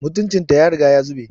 Mutuncin ta ya riga ya zube